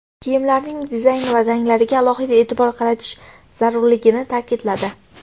Kiyimlarning dizayni va ranglariga alohida e’tibor qaratish zarurligini ta’kidladi.